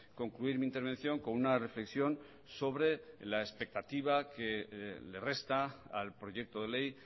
concluir mi intervención con una reflexión sobre la expectativa que le resta al proyecto de ley